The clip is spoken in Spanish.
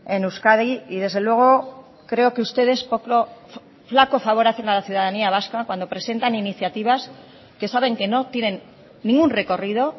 en euskadi y desde luego creo que ustedes flaco favor hacen a la ciudadanía vasca cuando presentan iniciativas que saben que no tienen ningún recorrido